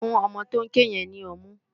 Fún òmò tó n ké yèn ni òmú